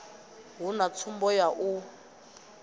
hu na tsumbo ya u